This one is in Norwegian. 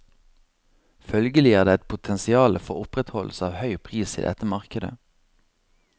Følgelig er det et potensiale for opprettholdelse av høy pris i dette markedet.